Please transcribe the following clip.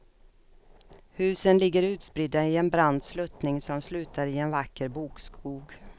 Husen ligger utspridda i en brant sluttning som slutar i en vacker bokskog.